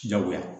Jagoya